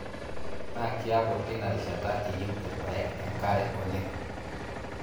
Naa kiaku teina rishata eyieu irpaek enkare oleng.